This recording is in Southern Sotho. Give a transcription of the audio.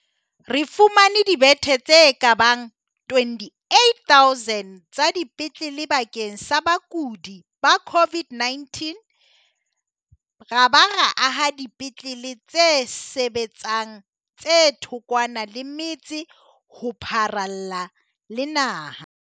Re fumane dibethe tse ka bang 28 000 tsa dipetlele bakeng sa bakudi ba COVID-19 ra ba ra aha dipetlele tse sebetsang tse thokwana le metse ho pharalla le naha.